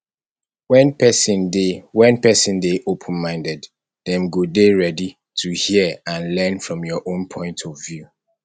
when person dey when person dey open minded dem go dey ready to hear and learn from your own point of view